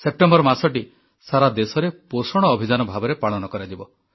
September ମାସଟି ସାରାଦେଶରେ ପୋଷଣ ଅଭିଯାନ ଭାବରେ ପାଳନ କରାଯିବ